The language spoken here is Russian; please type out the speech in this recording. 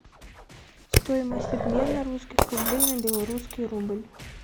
стоимость обмена русских рублей на белорусский рубль